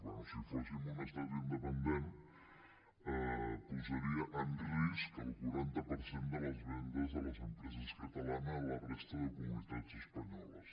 bé si fóssim un estat independent posaria en risc el quaranta per cent de les vendes de les empreses catalanes a la resta de comunitats espanyoles